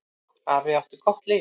Afi átti gott líf.